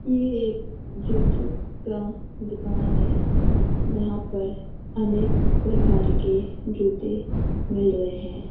ये एक जूतों का दुकान है। यहाँ पर अनेक प्रकार के जूते मिल रहें हैं।